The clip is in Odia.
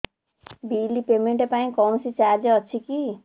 ବିଲ୍ ପେମେଣ୍ଟ ପାଇଁ କୌଣସି ଚାର୍ଜ ଅଛି କି